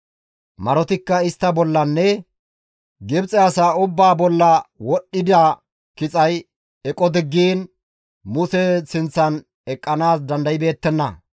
Marotikka istta bollanne Gibxe asaa ubbaa bolla wodhdhida kixay eqo diggiin Muse sinththan eqqanaas dandaybeettenna.